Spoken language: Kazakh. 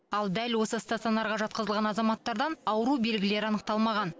ал дәл осы стационарға жатқызылған азаматтардан ауру белгілері анықталмаған